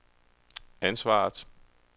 ansvaret